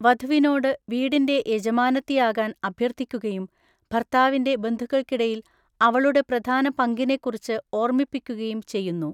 വധുവിനോട് വീടിന്‍റെ യജമാനത്തിയാകാൻ അഭ്യർത്ഥിക്കുകയും ഭർത്താവിന്‍റെ ബന്ധുക്കൾക്കിടയിൽ അവളുടെ പ്രധാന പങ്കിനെക്കുറിച്ച് ഓർമ്മിപ്പിക്കുകയും ചെയ്യുന്നു.